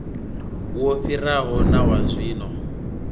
wo fhiraho na wa zwino